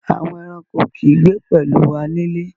Àwọn ẹ̀ràṇkò kì í gbé pẹ̀lú wà nílé.